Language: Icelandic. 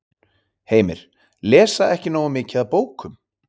Heimir: Lesa ekki nógu mikið af bókum?